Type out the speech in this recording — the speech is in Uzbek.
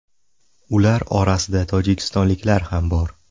Ular orasida tojikistonliklar ham bor.